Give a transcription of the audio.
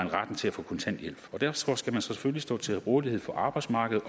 retten til at få kontanthjælp derfor skal man selvfølgelig stå til rådighed for arbejdsmarkedet